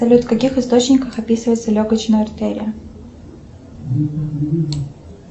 салют в каких источниках описывается легочная артерия